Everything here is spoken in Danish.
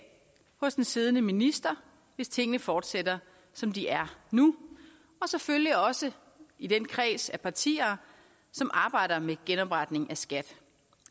hos den siddende minister hvis tingene fortsætter som de er nu og selvfølgelig også i den kreds af partier som arbejder med genopretningen af skat